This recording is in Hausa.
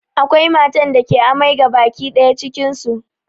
Akwai matan da ke amai gabaki ɗaya cikin su